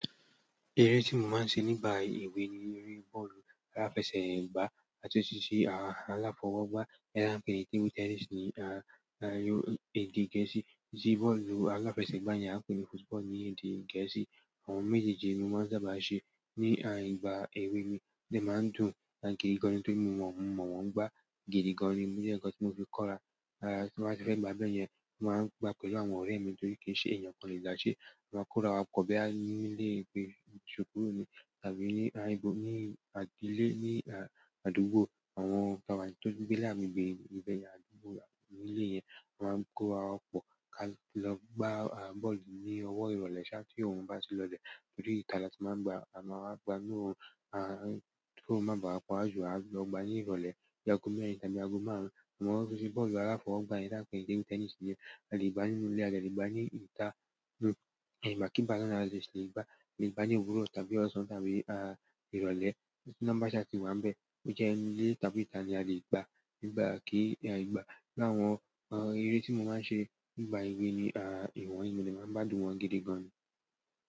Eré tí mo máa ń ṣe nígbà ewẹ́ni eré bọ́ọ̀lù aláfẹsẹ̀gbá, a tún ṣe ṣí àwọn aláfọwọ́gbá ẹranko ní tábìlì tẹnísì ní a yó èdè Gẹ̀ẹ́sì. Sí bọ́ọ̀lù aláfẹsẹ̀gbá yẹn a pè ní football ní èdè Gẹ̀ẹ́sì. Àwọn méjèèjì ni wọ́n sábà ṣe ní àìgbà èwe mi tí màá ń dùn, àti gidi gan ni tí mo mọ̀ wọ́n gbá gidi gan ni. Bí i ẹ̀ẹ̀kan tí mo fi kọ́ra, tí wọ́n bá fẹ́ gba abẹyẹn, wọ́n máa ń gbá pẹ̀lú àwọn ọ̀rẹ́ mi torí kí n ṣe èèyàn kan lè dáṣẹ́, wọ́n máa ń kó ra wa pọ̀ bí a nílé ìgbé ìṣòkùrò ni tàbí ní aìbò ní àdúgbò àwọn ọ̀rẹ́ mi tó nì gbè àgbègbé ìbẹ̀yẹn àdúgbò nílé yẹn. Wọ́n máa ń kó wa pọ̀ ká lọ gbá bọ́ọ̀lù ní ọwọ́ ìrọ̀lẹ́ ṣá tí òrùn bá ti lọlẹ̀ tòrí ìtà láti máa ń gbá, a máa wá gbá inú ààrìn tí òrun nà bá ń wá pà wàà jù a lọ gbá ní ìrọ̀lẹ́ lààgò mèèrìn tàbí aago márùn-ún. Àwọn tó ṣe bọ́ọ̀lù aláfọwọ́gbá yẹn tí a pè ní tábìlì tẹnísì yẹn, a lè gbá nínú ilé, a lè gbá ní ìtà, ní ìgbàkìgbà nàà là lè ṣe lè gbá, lè gbá ní òwúrọ̀ tàbí ọ̀sán tàbí à ìrọ̀lẹ́. Tì ìnàà bá ṣá tí wà ń bẹ́ẹ̀, ó jẹ́ ilé tàbí ìtà ni a lè gbá nìgbá kì í àìgbà. Láwọn eré tí mo máa ń ṣe nígbà èwẹ́ mi ìwọ̀n yìí ni màá ń gbádùn wọn gidi gan ni.